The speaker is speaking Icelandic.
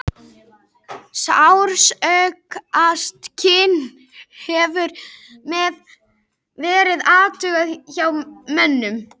Sársaukaskyn hefur mest verið athugað hjá mönnum.